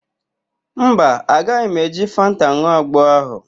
Mba, agaghị m eji fanta n̄ụọ agbo ahụ.